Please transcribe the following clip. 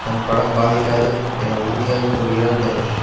தன் படம் பாதிக்காது என உறுதியாக கூறுகிறார் தனுஷ்